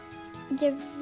ég hef